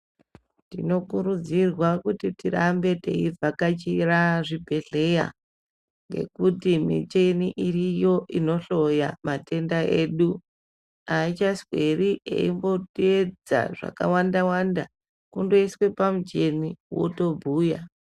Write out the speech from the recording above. Tinokurudzirwa kuti tirambe teivhakachira zvibhedhlera ngekuti michini iriyo inohloya matenda edu aichasweri yeimbotedza zvakawanda wanda kungoiswa pamuchini wotobhuya.